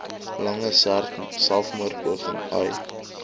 lange selfmoordpoging ai